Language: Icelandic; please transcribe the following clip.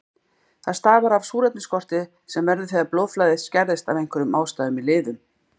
Það stafar af súrefnisskorti sem verður þegar blóðflæði skerðist af einhverjum ástæðum í liðum.